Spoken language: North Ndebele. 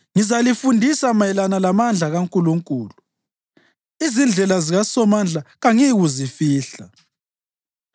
Ngizalifundisa mayelana lamandla kaNkulunkulu; izindlela zikaSomandla kangiyikuzifihla.